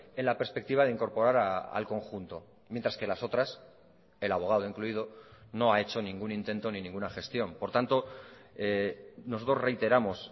en la perspectiva de incorporar al conjunto mientras que las otras el abogado incluido no ha hecho ningún intento ni ninguna gestión por tanto nosotros reiteramos